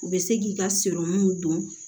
U bɛ se k'i ka don